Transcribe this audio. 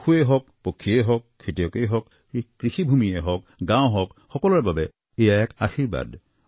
পশুৱেই হওক পক্ষীয়েই হওক খেতিয়কেই হওক কৃষিভূমিয়েই হওক গাঁও হওক সকলোৰে বাবে এয়া এক আশীৰ্বাদ